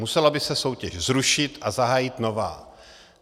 Musela by se soutěž zrušit a zahájit nová.